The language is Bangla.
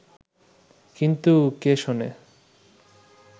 কিন্তু কে শোনে